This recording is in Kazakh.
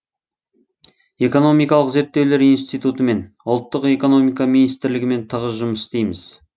экономикалық зерттеулер институтымен ұлттық экономика министрлігімен тығыз жұмыс істейміз